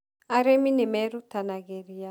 Arimi nĩ merutanagĩria